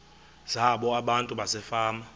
zabo abantu basefama